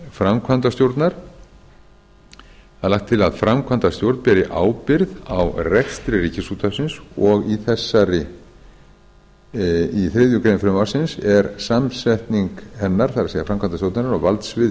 framkvæmdastjórnar lagt er til að framkvæmdastjórn beri ábyrgð á rekstri ríkisútvarpsins og í þriðju grein frumvarpsins er samsetning hennar það er framkvæmdastjórnarinnar og valdsvið